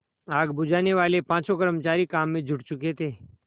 आग बुझानेवाले पाँचों कर्मचारी काम में जुट चुके थे